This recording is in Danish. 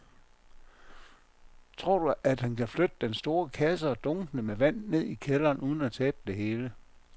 Tror du, at han kan flytte den store kasse og dunkene med vand ned i kælderen uden at tabe det hele?